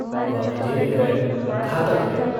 वह अजेय है घातक है।